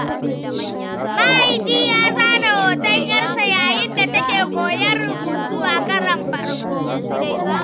Mahaifi ya zana hoton 'yarsa yayin da take koyon rubutu a karon farko.